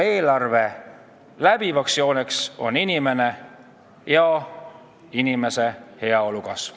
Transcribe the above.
Eelarve läbiv joon on inimene ja inimese heaolu kasv.